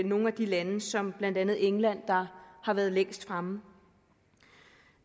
nogle af de lande som blandt andet england der har været længst fremme